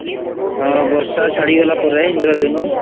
ହଁ ବର୍ଷା ଛାଡିଗଲା ପରେ ଇନ୍ଦ୍ରଧନୁ